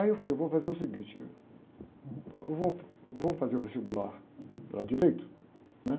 Aí eu falei, eu vou fazer o seguinte, eu vou, vou fazer o vestibular para direito, né?